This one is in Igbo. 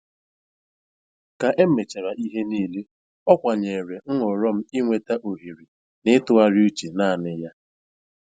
Ka emechara ihe niile, ọ kwanyere nhọrọ m ịweta ohere na ịtụgharị uche naanị ya.